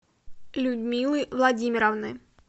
людмилы владимировны